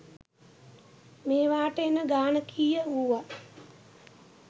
මේවාට එන ගාන කීය වුවත්